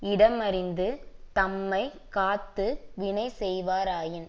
இடமறிந்து தம்மை காத்து வினை செய்வாராயின்